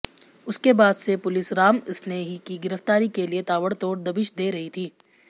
उसके बाद से पुलिस राम सनेही की गिरफ्तारी के लिए ताबड़तोड़ दबिश दे रही थी